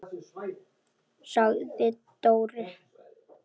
sagði Dóri.